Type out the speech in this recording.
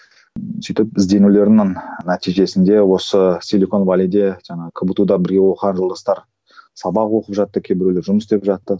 сөйтіп ізденулердің нәтижесінде осы жаңағы кбту да бірге оқыған жолдастар сабақ оқып жатты кейбіреулер жұмыс істеп жатты